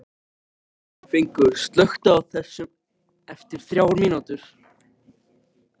Fengur, slökktu á þessu eftir þrjár mínútur.